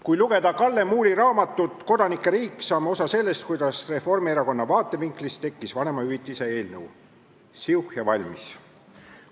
" Kui lugeda Kalle Muuli raamatut "Kodanike riik", saame osa sellest, kuidas Reformierakonna vaatevinklist tekkis vanemahüvitise seaduse eelnõu: siuh ja valmis!